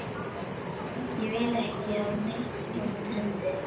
Ég vil ekki að neitt illt hendi þig.